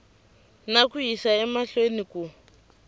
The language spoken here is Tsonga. na ku yisa emahlweni ku